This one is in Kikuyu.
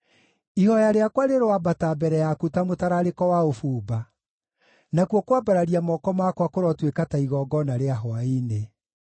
Ihooya rĩakwa rĩroambata mbere yaku ta mũtararĩko wa ũbumba; nakuo kwambararia moko makwa kũrotuĩka ta igongona rĩa hwaĩ-inĩ.